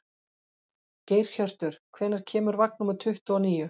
Geirhjörtur, hvenær kemur vagn númer tuttugu og níu?